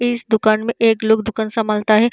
इस दुकान में एक लोग दुकान समालता है।